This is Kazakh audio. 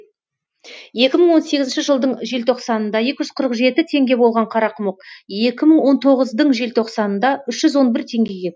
екі мың он сегізінші жылдың желтоқсанында екі жүз қырық жеті теңге болған қарақұмық екі мың он тоғыздың желтоқсанында үш жүз он бір теңгеге